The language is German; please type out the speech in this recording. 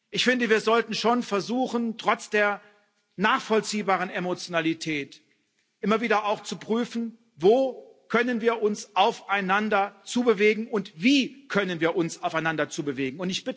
Ich finde, wir sollten schon versuchen trotz der nachvollziehbaren Emotionalität immer wieder auch zu prüfen, wo können wir uns aufeinander zu bewegen und wie können wir uns aufeinander zu bewegen.